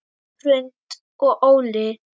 Hrund og Óli.